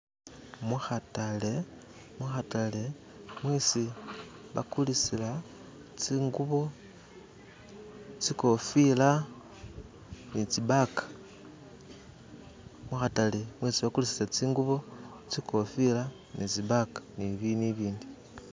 Mukhatale mukhatale mwesi bakulisila tsingubo tsikofila nitsibaga mukhatale mwesi bakulisila tsingubo tsikhofila ni tsibaga ni bindu ebindi